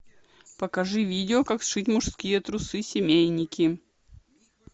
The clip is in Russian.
покажи видео как сшить мужские трусы семейники